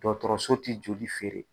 Dɔgɔtɔrɔso tɛ joli feere.